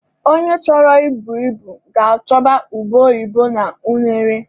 Onye chọrọ I bu ibu ga-achọba ube oyibo na unere.